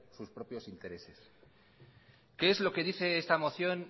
sus propios intereses qué es lo que dice esta moción